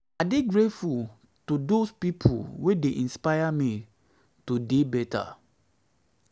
i dey grateful to dose pipo wey dey inspire me to dey beta